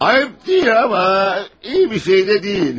Ayıb deyil amma iyi bir şey də deyil.